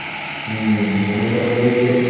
হম মানুষ আসলে